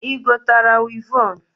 Igotara wịvọn?